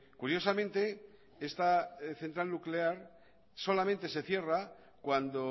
curiosamente esta central nuclear solamente se cierra cuando